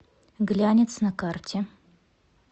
глянец на карте